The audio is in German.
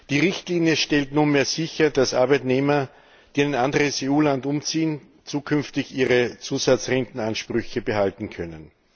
Die Richtlinie stellt nunmehr sicher, dass Arbeitnehmer, die in ein anderes EU Land umziehen, künftig ihre Zusatzrentenansprüche behalten können.